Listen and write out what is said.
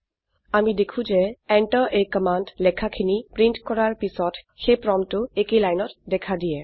আমি দেখো যে enter a কামাণ্ড লেখাখিনি প্ৰীন্ট কৰাৰ পিছত সেই প্ৰম্পটটো একেই লাইনত দেখা দিয়ে